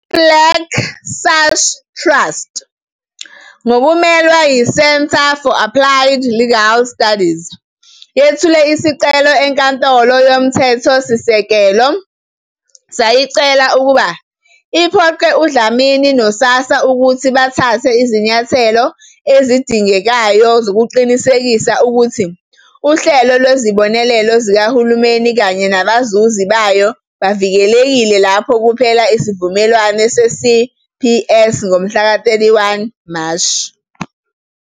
IBlack Sash Trust, ngokumelwa yiCentre for Applied Legal Studies, yethule isicelo eNkantolo yoMthethosisekelo, sayicela ukuba iphoqe uDlamini noSASSA ukuthi bathathe izinyathelo ezidingekayo zokuqinisekisa ukuthi uhlelo lwezibonelelo zikahulumeni kanye nabazuzi bayo bavikelekile lapho kuphela isivumelwano seCPS ngomhlaka 31 Mashi.